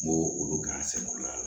N b'o olu kɛ an sɛgɛn o la